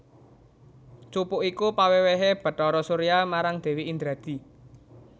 Cupu iku pawèwèhé Bathara Surya marang Dèwi Indradi